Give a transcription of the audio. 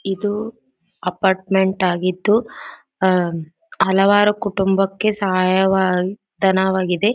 ಇದು ಅಪಾರ್ಟ್ಮೆಂಟ್ ಆಗಿದ್ದು ಆಂ ಹಲವಾರು ಕುಟುಂಬಕ್ಕೆ ಸಹಾಯವಾ ಧನವಾಗಿದೆ.